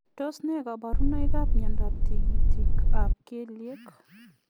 Tos nee kabarunoik ap miondoop tigitik ap kelyeek?